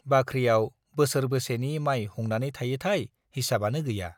बाख्रियाव बोसोरबेसेनि माइ हुंनानै थायोथाय हिसाबानो गैया।